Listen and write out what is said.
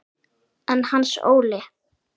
En Hans Óli?